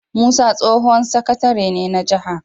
Musa tsohon sakatare ne na jaha